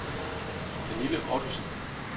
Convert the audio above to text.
Pernille Ottosen